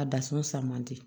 A da sɔn man di